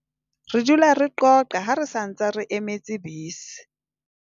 re dula re qoqa ha re sa ntse re emetse bese